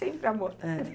Sempre amor. É.